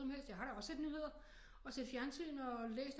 Noget som helst jeg har da også set nyheder og set fjernsyn og læst